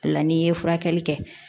O la n'i ye furakɛli kɛ